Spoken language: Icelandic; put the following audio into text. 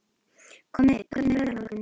Konni, hvernig er veðrið á morgun?